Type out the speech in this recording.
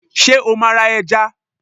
sẹ o ma ra èja?